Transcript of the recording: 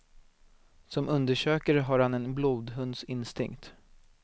Som undersökare har han en blodhunds instinkt.